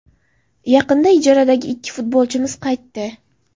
Yaqinda ijaradagi ikki futbolchimiz qaytdi.